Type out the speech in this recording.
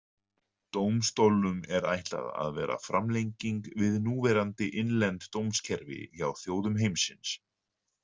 Dómstólnum er ætlað að vera framlenging við núverandi innlend dómskerfi hjá þjóðum heimsins.